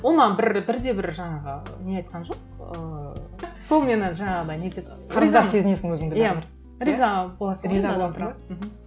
ол маған бір бір де бір жаңағы не айтқан жоқ ыыы сол мені жаңағыдай нетеді сезінесің өзінді риза боласың